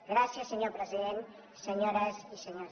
gràcies senyor president senyores i senyors diputats